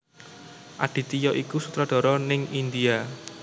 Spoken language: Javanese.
Aditya iku sutradara ning India